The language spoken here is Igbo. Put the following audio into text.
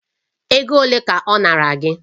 Ego ole ka ọ nara gị?